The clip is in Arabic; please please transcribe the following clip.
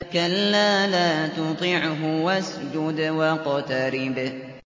كَلَّا لَا تُطِعْهُ وَاسْجُدْ وَاقْتَرِب ۩